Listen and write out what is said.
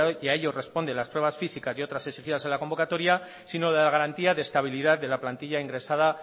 y a ello responde las pruebas físicas y otras exigidas en la convocatoria sino de la garantía de estabilidad de la plantilla ingresada